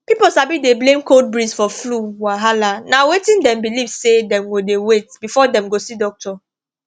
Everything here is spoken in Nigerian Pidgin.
pipo sabi dey blame cold breeze for flu wahala na wetin dem belief say dem go dey wait before dem go see doctor